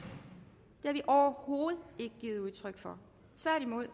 har vi overhovedet ikke givet udtryk for tværtimod og